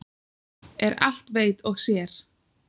Er allt veit og sér.